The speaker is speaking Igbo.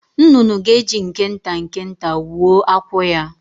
Nnụnụ ga-eji nke nta nke nta wuo akwụ ya.